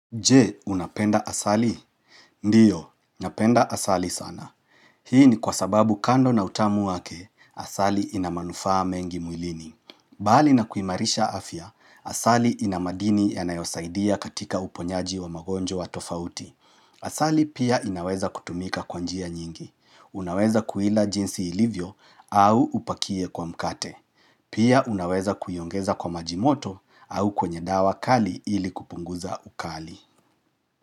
Je, unapenda asali? Ndiyo, unapenda asali sana. Hii ni kwa sababu kando na utamu wake, asali inamanufaa mengi mwilini. Bali na kuimarisha afya, asali inamadini yanayosaidia katika uponyaji wa magonjwa tofauti. Asali pia inaweza kutumika kwa njia nyingi. Unaweza kuila jinsi ilivyo au upakie kwa mkate. Pia unaweza kuiongeza kwa majimoto au kwenye dawa kali ili kupunguza ukali.